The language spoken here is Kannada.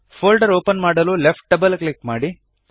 ಫೋಲ್ಡರ್ ಒಪನ್ ಮಾಡಲು ಲೆಫ್ಟ್ ಡಬಲ್ ಕ್ಲಿಕ್ ಮಾಡಿ